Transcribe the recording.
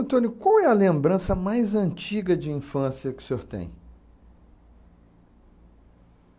qual é a lembrança mais antiga de infância que o senhor tem?